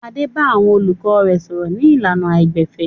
Adé bá àwọn olùkọ́ rẹ̀ sọ̀rọ̀ ní ìlànà àìgbẹ̀fẹ̀.